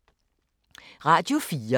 Radio 4